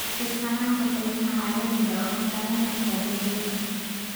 Ku-tiirsanaanta qiimaha caalamiga ah waxay saameyn kartaa beeralayda.